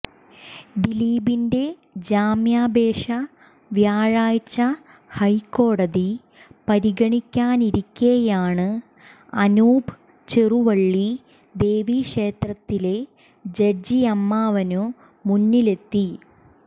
ദിലീപിന്റെ ജാമ്യാപേക്ഷ വ്യാഴാഴ്ച ഹൈക്കോടതി പരിഗണിക്കാനിരിക്കെയാണ് അനൂപ് ചെറുവള്ളി ദേവീക്ഷേത്രത്തിലെ ജഡ്ജിയമ്മാവനു മുന്നിലെത്തി